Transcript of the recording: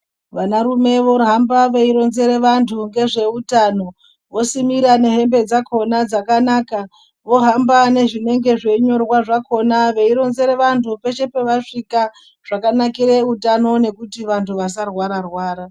Vanarume vohamba veironzere vantu ngezveutano vosimira nehembe dzakona dzakanaka vohamba nezvinenge zveinyorwa zvakona veironzere vantu peshe pavasvika zvakanakire utano nekuti vantu vasarwararwara.